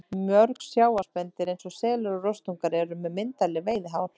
Mörg sjávarspendýr eins og selir og rostungar eru með myndarleg veiðihár.